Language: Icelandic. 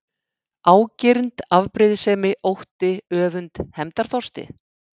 Ágirnd, afbrýðisemi, ótti, öfund, hefndarþorsti?